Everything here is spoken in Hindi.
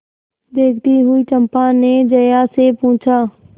देखती हुई चंपा ने जया से पूछा